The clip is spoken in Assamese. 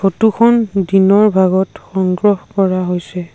ফটো খন দিনৰ ভাগত সংগ্ৰহ কৰা হৈছে।